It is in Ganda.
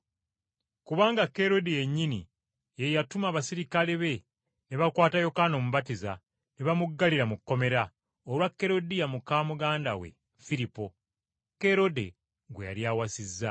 Kubanga Kerode yennyini ye yatuma abaserikale be ne bakwata Yokaana Omubatiza ne bamuggalira mu kkomera, olwa Kerudiya muka muganda we Firipo, Kerode gwe yali awasizza.